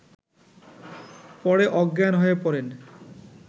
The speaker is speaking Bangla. পরে অজ্ঞান হয়ে পড়েন